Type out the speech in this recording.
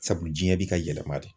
Sabu diɲɛ bi ka yɛlɛma de.